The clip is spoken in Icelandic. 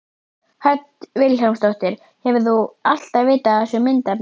Hödd Vilhjálmsdóttir: Hefur þú alltaf vitað af þessu myndefni?